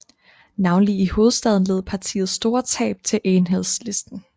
Navnlig i Hovedstaden led partiet store tab til Enhedslisten